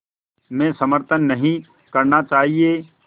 में समर्थन नहीं करना चाहिए